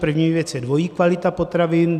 První věc je dvojí kvalita potravin.